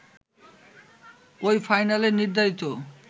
ঐ ফাইনালে নির্ধারিত